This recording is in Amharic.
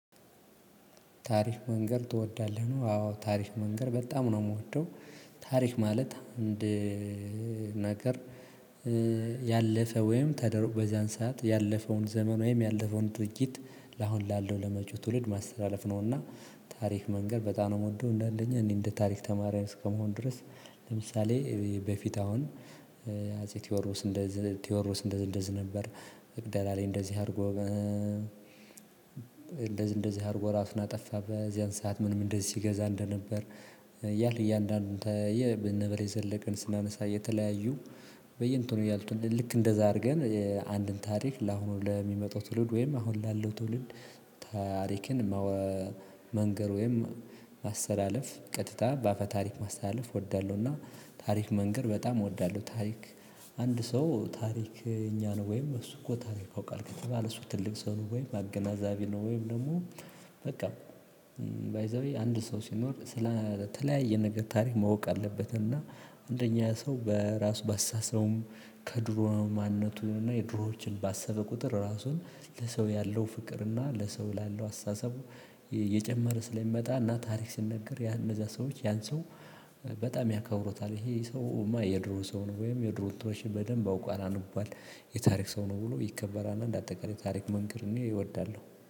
ታሪክ መንገር ትወዳለህ ነው አዎ ታሪክ መንገር በጣም ነው የምወደው። ታሪክ ማለት አንድ ነገር ያለፈ ወይም ተደርጎ በዚያን ሰዓት ያለፈውን ዘመን ወይም ያለፈውን ድርጊት ለአሁን ላለው ለመጪው ትውልድ ማስተላለፍ ነውና። ታሪክ መንገር በጣም ነው የምወደው። አንደኛ የታሪክ ተማሪ እንደመሆኔ። ለምሳሌ በፊት አሁን አፄ ቴዎድሮስ እንደዚህ እንደዚህ ነበር መቅደላ ላይ እንደዚህ አርጎ- እንደዚህ አርጎ ራሱን አጠፋ በዚያን ሰዓት ምንም እንደዚህ ሲገዛ እንደነበር ያህል እያንዳንዱን የነ በላይ ዘለቀን ስናነሳ የተለያዩ በየእንትኑ ያሉትን ልክ እንደዛ አድርገን- አንድን ታሪክ ለአሁኑ ለሚመጣው ትውልድ ወይም አሁን ላለው ትውልድ ታሪክን- መንገር ወይም ማሰላለፍ ቀጥታ በአፈ ታሪክ ማስተላለፍ እወዳለሁና ታሪክ መንገር በጣም እወዳለሁ። ታሪክ- አንድ ሰው ታሪከኛ ነው ወይም እሱ እኮ ታሪክ ያውቃል ከተባለ እሱ ትልቅ ሰው ነው ወይ አገናዛቢ ነው ወይም ደግሞ በቃ- ባይ ዘ ዌይ አንድ ሰው ሲኖር ስለተለያየ ነገር ታሪክ ማወቅ አለበት እና- አንደኛ ሰው በራሱ ባስተሳሰቡም ከድሮ ማንነቱን እና የድሮዎችን ባሰበ ቁጥር ራሱን ለሰው ያለው ፍቅር እና ለሰው ላለው አስተሳሰቡ የጨመረ ስለሚመጣ እና ታሪክ ሲነግር እነዛ ሰዎች ያን ሰው- በጣም ያከብሩታል። ይህ ሰውም የድሮ ሰው ነው ወይም የድሮ እንትኖችን በድንብ አውቋል። አንቧል ተብሎ ይከበራል።